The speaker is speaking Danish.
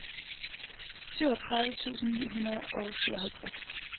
syvogtredive tusind ni hundrede og syvoghalvtreds